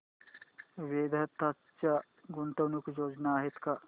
वेदांत च्या गुंतवणूक योजना आहेत का